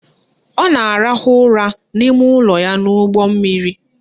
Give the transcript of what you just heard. Ọ na-arahụ ụra n'ime ụlọ ya n'ụgbọmmiri